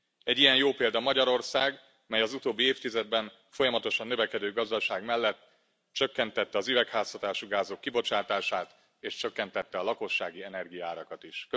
Egy ilyen jó példa Magyarország, mely az utóbbi évtizedben folyamatosan növekedő gazdaság mellett csökkentette az üvegházhatású gázok kibocsátását és csökkentette a lakossági energiaárakat is.